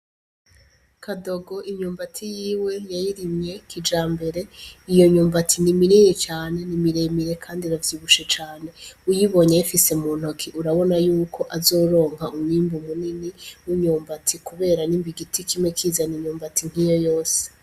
Kadogo imyumbati yiwe yayirimye kijambere ,iyo myumbati ni minini cane ,ni miremire kandi iravyibushe cane, uyibonye ayifise muntoki urabona yuko azoronk 'umwimbu munini w'imyubati kubera nimba igiti kimwe kizan'imyumbati nkiyo yose.